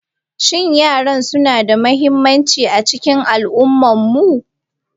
Shin yara suna da mahimmanci a cikin al'ummarmu?